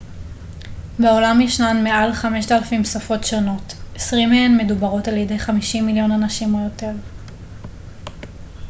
בעולם ישנן מעל 5,000 שפות שונות 20 מהן מדוברות על ידי 50 מיליון אנשים או יותר